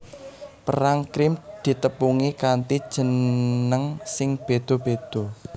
Perang Krim ditepungi kanthi jeneng sing béda béda